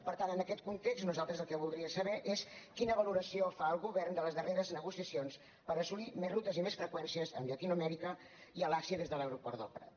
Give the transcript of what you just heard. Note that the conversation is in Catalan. per tant en aquest context nosaltres el que voldríem saber és quina valoració fa el govern de les darreres negociacions per assolir més rutes i més freqüèn cies amb llatinoamèrica i a l’àsia des de l’aeroport del prat